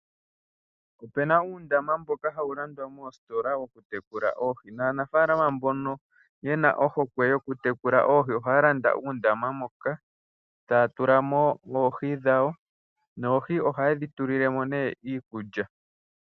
Opena uundama mboka hawu landwa moositola woku tekula oohi, nanafaalama mbono yena ohokwe yoku tekula oohi, ohaya landa uundama mpoka taa tula mo oohi dhawo noohi ohaye dhi tulile mo nee iikulya .